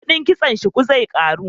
Kudin kitson shuku zai karu